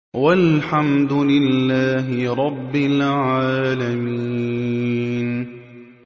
وَالْحَمْدُ لِلَّهِ رَبِّ الْعَالَمِينَ